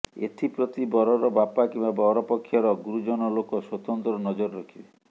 ଏଥିପ୍ରତି ବରର ବାପା କିମ୍ବା ବରପକ୍ଷର ଗୁରୁଜନ ଲୋକ ସ୍ୱତନ୍ତ୍ର ନଜର ରଖିବେ